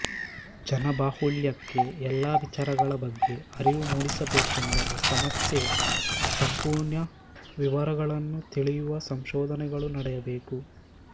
ಜನಬಾಹುಳ್ಯಕ್ಕೆ ಎಲ್ಲಾ ವಿಚಾರಗಳ ಬಗ್ಗೆ ಅರಿವು ಮೂಡಿಸಬೇಕೆಂದರೆ ಸಮಸ್ಯೆಯ ಸಂಪೂರ್ಣ ವಿವರಗಳನ್ನು ತಿಳಿಯುವ ಸಂಶೋಧನೆಗಳು ನಡೆಯಬೇಕು